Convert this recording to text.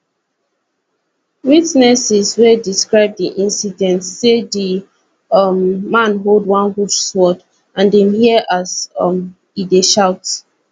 witnesses wey describe di incident say di um man hold one huge sword and dem hear as um e dey shout